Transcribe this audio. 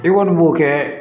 I kɔni b'o kɛ